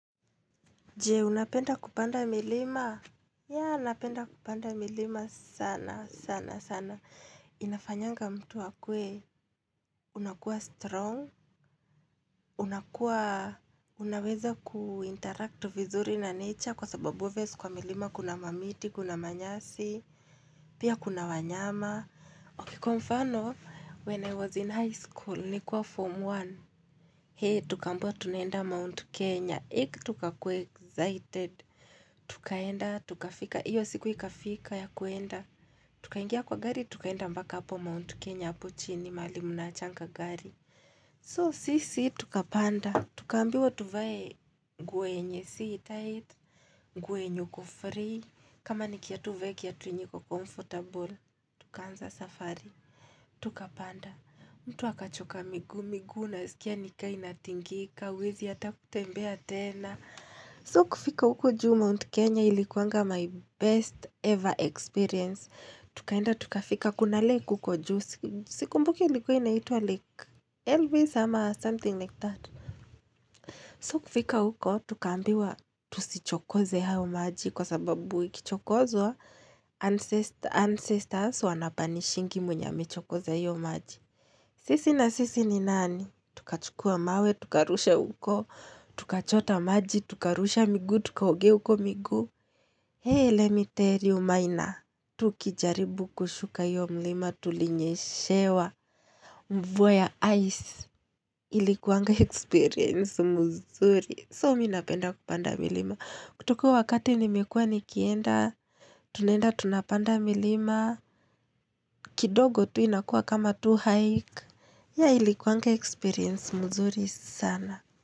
Je, unapenda kupanda milima? Ya, napenda kupanda milima sana, sana, sana. Inafanyanga mtu akuwe, unakuwa strong, unakuwa, unaweza kuinteract vizuri na nature, kwa sababu obvious, kwa milima, kuna mamiti, kuna manyasi, pia kuna wanyama. Ok, kwa mfano, when I was in high school, nikiwa form one. Hee, tukaambiwa tunaenda Mount Kenya, Heie tukakuwa excited, Tukaenda tukafika Iyo siku ikafika ya kuenda Tukaingia kwa gari tukaenda mpaka hapo Mount Kenya, hpo chini mahali mnaachanga gari, So sisi tukapanda, tukaambiwa tuvae nguo yenye si tight, nguo yenye uku free, kama ni kiatu uvae kiatu yenye iko comfortable, Tukaanza safari, Tukapanda, mtu akachoka miguu, miguu naskia nikaa inatingika huwezi hata kutembea tena So kufika huko juu, Mount Kenya ilikuanga my best ever experience, tukaenda tukafika, kuna ile iko huko juu, sikumbuki ilikuwa inaitwa lake Elvis ama something like that, so kufika huko tukaambiwa tusichokoze hayo maji kwa sababu ikichokozwa, ancestors wanapanishingi mwenye amechokoza hiyo maji, sisi na sisi ni nani tukachukua mawe, tukarusha huko Tukachota maji, tukarusha miguu, tukaogea huko miguu Hee, lemmi tell you maina, Tukijaribu kushuka hiyo mlima, tulinyeshewa, Mvua ya ice, Ilikuwanga experience mzuri, So mimi napenda kupanda milima, kutoka huo wakati nimekuwa nikienda Tunaenda tunapanda milima, kidogo tu inakuwa kama tu hike, ya ilikuwanga experience mzuri sana.